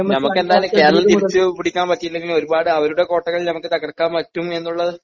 നമുക്ക് എന്തായാലും കേരളം തിരിച്ചുപിടിക്കാൻ പറ്റിയില്ലെങ്കിലും ഒരുപാട് അവരുടെ കോട്ടകൾ നമുക്ക് തകർക്കാൻ പറ്റും എന്നുള്ളത്